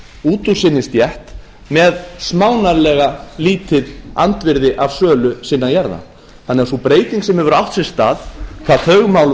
út úr sinni stétt með smánarlega lítið andvirði af sölu sinna jarða þannig að sú breyting sem hefur átt sér stað hvað þau mál